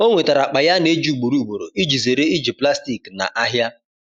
o nwetara akpa ya ana eji ugboro ugboro iji zere iji plastik na ahia